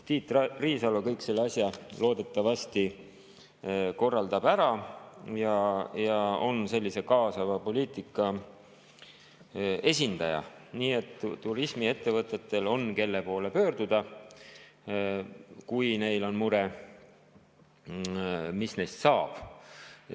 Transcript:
Tiit Riisalo korraldab selle asja loodetavasti ära, ta on sellise kaasava poliitika esindaja, nii et turismiettevõtetel on, kelle poole pöörduda, kui neil on mure, et mis neist saab.